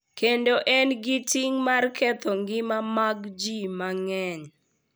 Kendo en gi ting’ mar ketho ngima mag ji mang’eny.